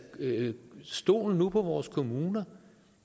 stol nu på vores kommuner